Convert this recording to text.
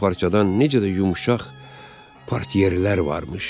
Yun parçadan necə də yumşaq partiyerlər varmış.